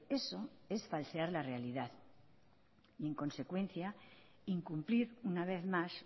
eso es falsear la realidad y en consecuencia incumplir una vez más